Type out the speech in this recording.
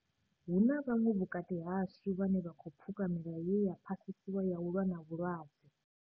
Hu na vhaṅwe vhukati hashu vhane vha khou pfuka milayo ye ya phasiswa ya u lwa na vhulwadze.